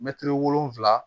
Mɛtiri wolonfila